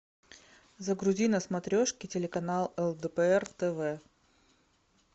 загрузи на смотрешке телеканал лдпр тв